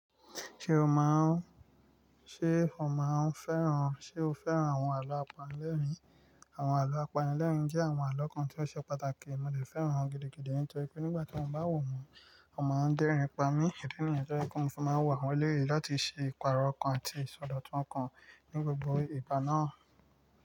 Ṣé o máa ń, ṣe o máa ń fẹ́ràn, ṣe o fẹ́ràn àwọn àlọ́ apanilẹ́rìn? Àwọn àlọ́ apanilẹ́rìn jẹ́ àwọn àlọ́ kan tí ó ṣe pàtàkì. Mo lè fẹ́ràn wọn gidigidi nítorí pé nígbà tí wọ́n bá wò wọ́n, wọ́n máa ń dẹ́rin pamọ́. Idí níyẹn tó jẹ pé mo fi máa ńwo awọ́n lérè láti ṣe ìpààrọ̀ okan àti ìsọdọ̀tun okan ní gbogbo ìgbà náà.